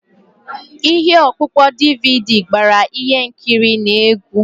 Ihe ọkpụkpọ DVD gbara ihe nkiri na egwu.